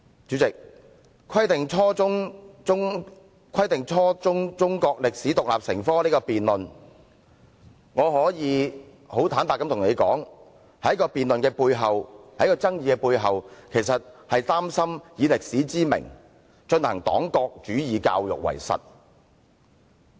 主席，就"規定初中中國歷史獨立成科"這項辯論，我可以很坦白對你說，在辯論及爭議的背後，我其實是擔心有人以歷史之名，行黨國主義教育之實。